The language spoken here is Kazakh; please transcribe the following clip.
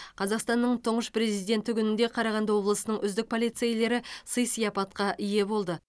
қазақстанның тұңғыш президенті күнінде қарағанды облысының үздік полицейлері сый сияпатқа ие болды